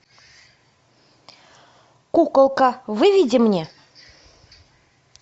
куколка выведи мне